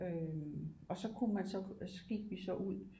Øh og så kunne man så og så gik vi så ud